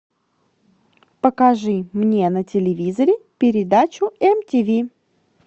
покажи мне на телевизоре передачу мтв